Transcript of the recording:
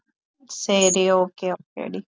சரி சரி okay okay D